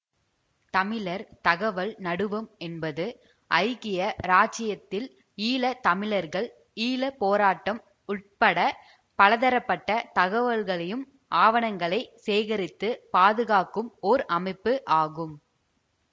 தமிழர் தகவல் நடுவம் என்பது ஐக்கிய இராச்சியத்தில் ஈழ தமிழர்கள் ஈழ போராட்டம் உட்பட பலதரப்பட்ட தகவல்களையும் ஆவணங்களை சேகரித்து பாதுகாக்கும் ஓர் அமைப்பு ஆகும்